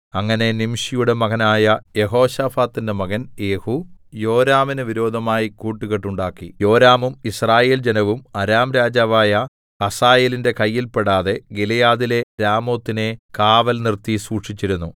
അങ്ങനെ നിംശിയുടെ മകനായ യെഹോശാഫാത്തിന്റെ മകൻ യേഹൂ യോരാമിന് വിരോധമായി കൂട്ടുകെട്ടുണ്ടാക്കി യോരാമും യിസ്രായേൽ ജനവും അരാം രാജാവായ ഹസായേലിന്റെ കയ്യിൽ പെടാതെ ഗിലെയാദിലെ രാമോത്തിനെ കാവൽ നിർത്തി സൂക്ഷിച്ചിരുന്നു